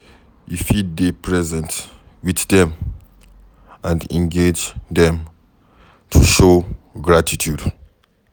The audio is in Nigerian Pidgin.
You fit dey present with them and engage them to show gratitude